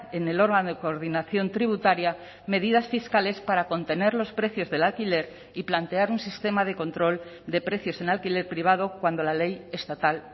en el órgano de coordinación tributaria medidas fiscales para contener los precios del alquiler y plantear un sistema de control de precios en alquiler privado cuando la ley estatal